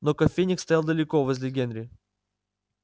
но кофейник стоял далеко возле генри